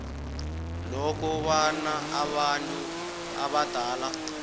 lokobana abantu abadala